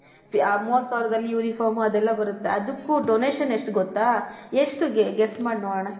ಮೂವತ್ ಸಾವಿರದಲ್ಲಿ uniform ಅದೆಲ್ಲ ಬರುತ್ತೆ ಅದುಕು ಡೊನೇಶನ್ ಎಷ್ಟ್ ಗೊತ್ತಾ ಎಷ್ಟ್ ಗೆಸ್ ಮಾಡ ನೋಡನ .